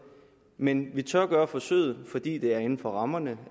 men vi tør gøre forsøget fordi det er inden for rammerne